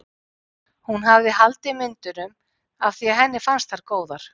Hún hafði haldið myndunum af því að henni fannst þær góðar.